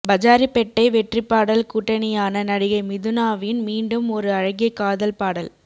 பஜாரிப்பெட்டை வெற்றிப்பாடல் கூட்டனியான நடிகை மிதுனாவின் மீண்டும் ஒரு அழகிய காதல் பாடல்